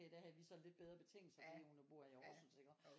Der havde vi så lidt bedre betingelser fordi hun bor i Aarhus iggå